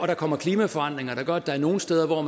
der kommer klimaforandringer der gør at der er nogle steder hvor